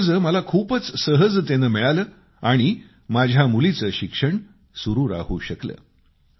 हे कर्ज मला खूपच सहजतेनं मिळालं आणि माझ्या मुलीचं शिक्षण सुरू राहू शकलं